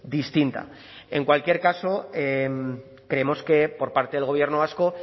distinta en cualquier caso creemos que por parte del gobierno vasco